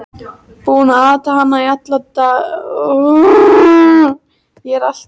Búinn að ata hana alla út í málningu!